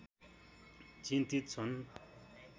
चिन्तित छन्